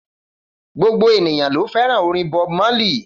Gbogbo ènìyàn ló fẹ́ràn orin Bob Marley